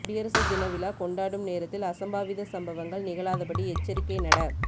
குடியரசு தினவிழா கொண்டாடும் நேரத்தில் அசம்பாவித சம்பவங்கள் நிகழாதபடி எச்சரிக்கை நட